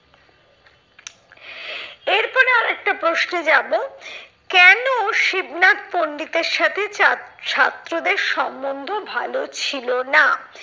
এরপরে আর একটা প্রশ্নে যাবো। কেন শিবনাথ পন্ডিতের সাথে ছা ছাত্রদের সম্বন্ধ ভালো ছিল না?